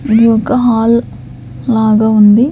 ఇది ఒక హాల్ లాగా ఉంది.